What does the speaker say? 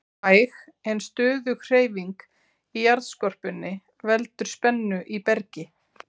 Hæg en stöðug hreyfing í jarðskorpunni veldur spennu í bergi.